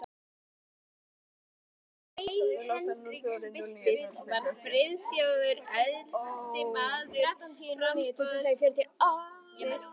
Þegar grein Hendriks birtist, var Friðþjófur efsti maður á framboðslista